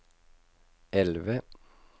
elve